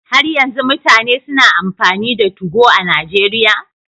Har yanzu mutane suna amfani da Tugo a Najeriya?